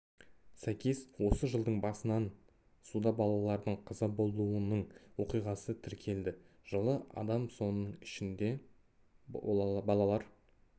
сәйкес осы жылдың басынан суда балалардың қаза болуының оқиғасы тіркелді жылы адам соның ішінде балалар